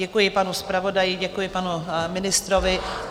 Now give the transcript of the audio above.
Děkuji panu zpravodaji, děkuji panu ministrovi.